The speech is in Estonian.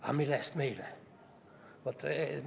"– "Aga mille eest meile?